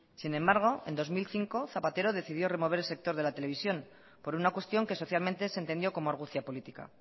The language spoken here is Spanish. sin embargo en dos mil cinco zapatero decidió remover el sector de la televisión por una cuestión que socialmente se entendió como argucia política